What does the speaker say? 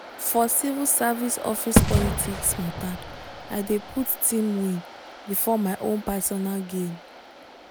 for civil service office politics matter i dey put team win before my own personal gain.